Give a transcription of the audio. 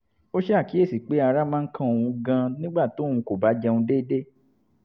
ó ṣàkíyèsí pé ara máa ń kan òun gan-an nígbà tóun kò bá jẹun deede